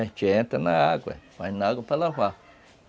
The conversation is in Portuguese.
A gente entra na água, vai na água para lavar.